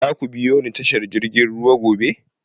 Za ku biyo ni tashar jirgin ruwa gobe?